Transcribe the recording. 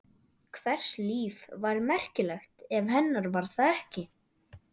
Hvers líf var merkilegt ef hennar var það ekki?